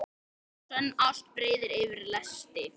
Sönn ást breiðir yfir lesti.